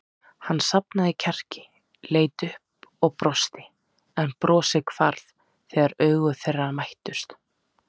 Hann safnaði kjarki, leit upp og brosti en brosið hvarf þegar augu þeirra mættust.